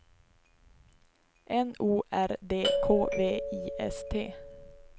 N O R D K V I S T